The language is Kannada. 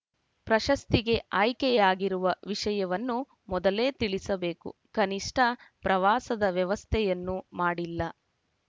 ಪ್ರಶಸ್ತಿಗೆ ಆಯ್ಕೆಯಾಗಿರುವ ವಿಷಯವನ್ನು ಮೊದಲೇ ತಿಳಿಸಬೇಕು ಕನಿಷ್ಠ ಪ್ರವಾಸದ ವ್ಯವಸ್ಥೆಯನ್ನು ಮಾಡಿಲ್ಲ